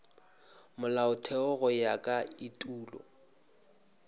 molaotheo go ya ka etulo